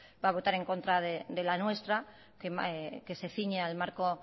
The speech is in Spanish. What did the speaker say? va a votar en contra de la nuestra que se ciñe al marco